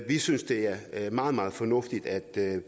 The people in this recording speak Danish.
vi synes det er meget meget fornuftigt at